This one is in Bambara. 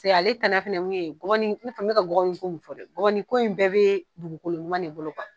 Paseke ale tana fɛnɛ ye mun gɔbɔni min ka gɔbɔni ko min fɔ dɛ gɔbɔni ko in bɛɛ bɛ dugukoloɲuman de bolo .